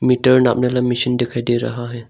Metre दिखाई दे रहा है।